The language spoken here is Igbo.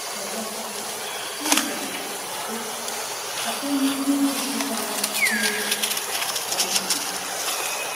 Ọzọkwa, Jizọs kwuru, sị: “ Site n’ihe jupụtara n’obi ka ọnụ na-ekwu .”